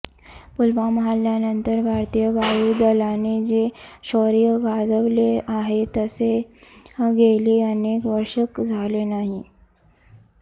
पुलवामा हल्ल्यानंतर भारतीय वायू दलाने जे शौर्य गाजवले आहे तसे गेली अनेक वर्षे झाले नाही